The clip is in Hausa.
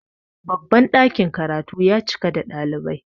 babban dakin karatu ya cika da ɗalibai